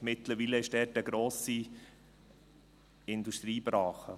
Mittlerweile ist dort eine grosse Industriebrache.